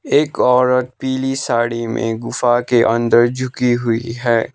एक औरत पीली साड़ी में गुफा के अंदर झुकी हुई है।